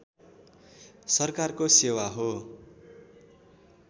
सरकारको सेवा हो